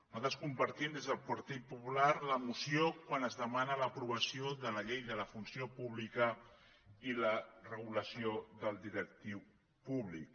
nosaltres compartim des del partit popular la moció quan es demana l’aprovació de la llei de la funció pública i la regulació del directiu públic